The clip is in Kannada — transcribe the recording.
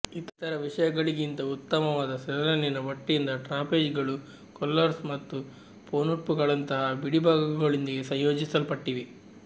ಇತರ ವಿಷಯಗಳಿಗಿಂತ ಉತ್ತಮವಾದ ಸೆಲ್ನಲ್ಲಿನ ಬಟ್ಟೆಯಿಂದ ಟ್ರಾಪೆಜ್ಗಳು ಕೊಲ್ಲರ್ಸ್ ಮತ್ತು ಪೊನ್ಟೂಪ್ಗಳಂತಹ ಬಿಡಿಭಾಗಗಳೊಂದಿಗೆ ಸಂಯೋಜಿಸಲ್ಪಟ್ಟಿವೆ